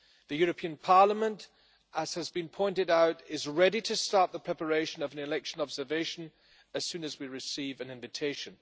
The European Parliament, as has been pointed out, is ready to start the preparation of an election observation as soon as we receive an invitation.